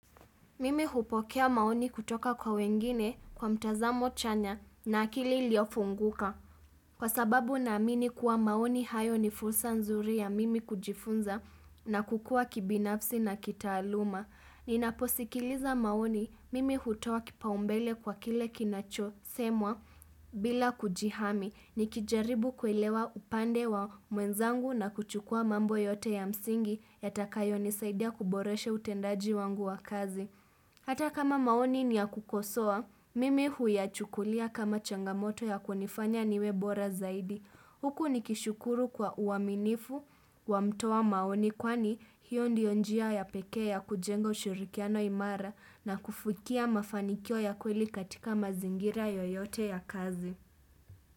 Mimi hupokea maoni kutoka kwa wengine kwa mtazamo chanya na akili iliofunguka. Kwa sababu naamini kuwa maoni hayo ni fursa nzuri ya mimi kujifunza na kukua kibinafsi na kitaaluma. Ninaposikiliza maoni mimi hutoa kipaumbele kwa kile kinachosemwa bila kujihami. Nikijaribu kuelewa upande wa mwenzangu na kuchukua mambo yote ya msingi yatakayo nisaidia kuboresha utendaji wangu wa kazi. Hata kama maoni ni ya kukosoa, mimi huyachukulia kama changamoto ya kunifanya niwe bora zaidi. Huku nikishukuru kwa uaminifu wa mtoa maoni kwani hiyo ndio njia ya pekee ya kujenga ushirikiano imara na kufikia mafanikio ya kweli katika mazingira yoyote ya kazi.